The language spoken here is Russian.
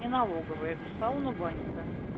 не налоговая это сауна банька